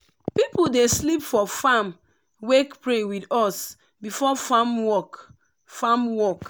people dey sleep for farm wake pray with us before farm work. farm work.